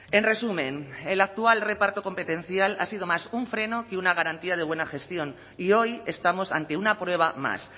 en resumen el actual reparto competencial ha sido más un freno que una garantía de buena gestión y hoy estamos ante una prueba más